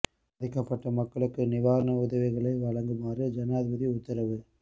பாதிக்கப்பட்ட மக்களுக்கு நிவாரண உதவிகளை வழங்குமாறு ஜனாதிபதி உத்தரவு